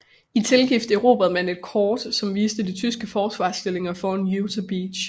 I tilgift erobrede man et kort som viste de tyske forsvarsstillinger foran Utah Beach